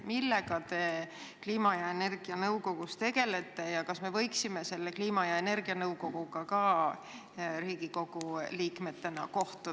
Millega te kliima- ja energianõukogus tegelete ja kas me võiksime Riigikogu liikmetena selle kliima- ja energianõukoguga ka kohtuda?